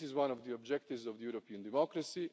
This is one of the objectives of European democracy.